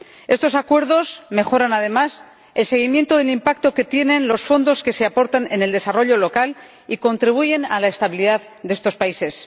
Estos acuerdos mejoran además el seguimiento del impacto que tienen los fondos que se aportan en el desarrollo local y contribuyen a la estabilidad de estos países.